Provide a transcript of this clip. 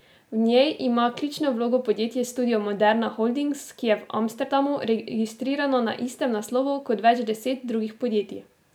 V njej ima ključno vlogo podjetje Studio Moderna Holdings, ki je v Amsterdamu registrirano na istem naslovu kot več deset drugih podjetij.